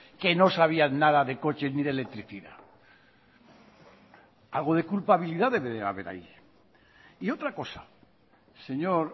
que no sabían nada de coches ni de electricidad algo de culpabilidad debe de haber ahí y otra cosa señor